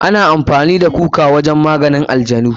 Ana amfani da baobab wajen maganin ajanu.